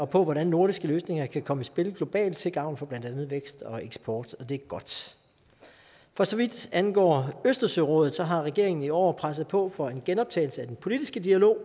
på hvordan nordiske løsninger kan komme i spil globalt til gavn for blandt andet vækst og eksport og det er godt for så vidt angår østersørådet har regeringen i år presset på for en genoptagelse af den politiske dialog